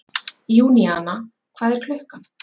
Júníana, hvað er klukkan?